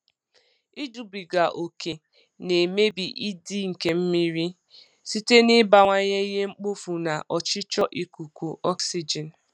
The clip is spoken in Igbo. Ijubiga ókè na-emebi ịdị nke mmiri ịdị nke mmiri site n'ịbawanye ihe mkpofu na ọchịchọ ikuku oxygen.